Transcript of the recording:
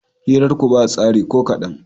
Hirarku ba tsari ko kaɗan.